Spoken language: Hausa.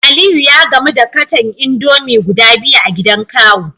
Aliyu ya gamu da katon indomie guda biyu a gidan kawu